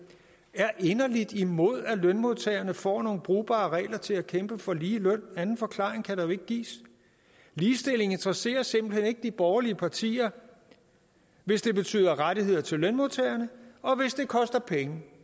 er inderligt imod at lønmodtagerne får nogle brugbare regler til at kæmpe for ligeløn anden forklaring kan der ikke gives ligestilling interesserer simpelt hen ikke de borgerlige partier hvis det betyder rettigheder til lønmodtagerne og hvis det koster penge